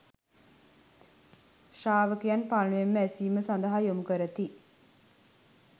ශ්‍රාවකයන් පළමුවෙන්ම ඇසීම සඳහා යොමු කරති.